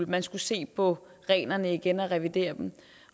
man skulle se på reglerne igen og revidere dem